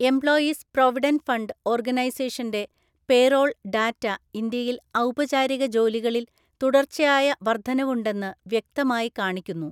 Employees provident fund ഓർഗനൈസേഷന്റെ payroll‍ data ഇന്ത്യയില്‍ ഔപചാരിക ജോലികളില്‍ തുടർച്ചയായ വർദ്ധനവുണ്ടെന്ന് വ്യക്തമായി കാണിക്കുന്നു.